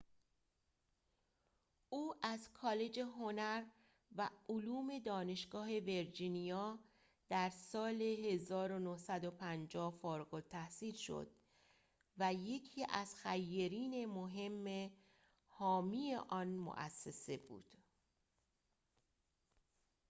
او از کالج هنر و علوم دانشگاه ویرجینیا در سال ۱۹۵۰ فارغ‌التحصیل شد و یکی از خیرین مهم حامی آن مؤسسه بود